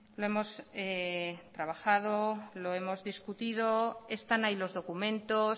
lo hemos trabajado lo hemos discutido están ahí los documentos